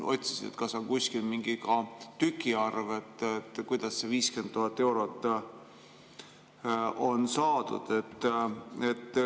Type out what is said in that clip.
Otsisin, kas on kuskil ka mingi arv, kuidas see 50 000 eurot on saadud.